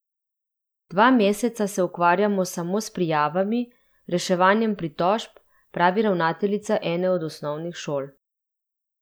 Dva meseca se ukvarjamo samo s prijavami, reševanjem pritožb, pravi ravnateljica ene od osnovnih šol.